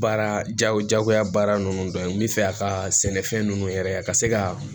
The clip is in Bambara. Baara jaw jagoya baara ninnu dɔ ye n bɛ fɛ a ka sɛnɛfɛn ninnu yɛrɛ a ka se ka